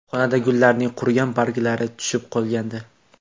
Xonada gullarning qurigan barglari tushib qolgandi.